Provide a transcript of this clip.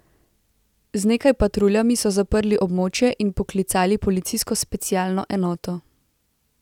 Z nekaj patruljami so zaprli območje in poklicali policijsko specialno enoto.